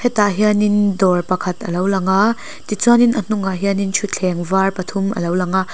tah hianin dawr pakhat alo lang a tichuan in a hnung ah hianin thuthleng var pathum alo lang a.